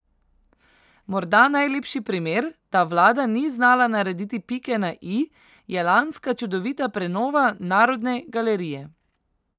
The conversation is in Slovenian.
Morda najlepši primer, da vlada ni znala narediti pike na i, je lanska čudovita prenova Narodne galerije.